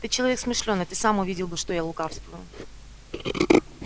ты человек смышлёный ты сам увидел бы что я лукавствую